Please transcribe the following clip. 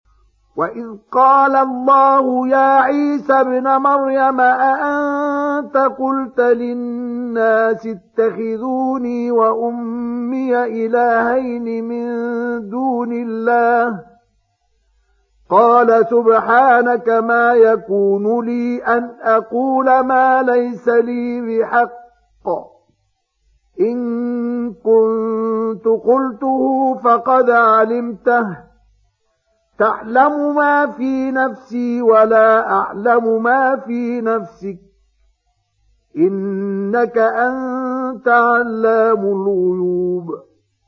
وَإِذْ قَالَ اللَّهُ يَا عِيسَى ابْنَ مَرْيَمَ أَأَنتَ قُلْتَ لِلنَّاسِ اتَّخِذُونِي وَأُمِّيَ إِلَٰهَيْنِ مِن دُونِ اللَّهِ ۖ قَالَ سُبْحَانَكَ مَا يَكُونُ لِي أَنْ أَقُولَ مَا لَيْسَ لِي بِحَقٍّ ۚ إِن كُنتُ قُلْتُهُ فَقَدْ عَلِمْتَهُ ۚ تَعْلَمُ مَا فِي نَفْسِي وَلَا أَعْلَمُ مَا فِي نَفْسِكَ ۚ إِنَّكَ أَنتَ عَلَّامُ الْغُيُوبِ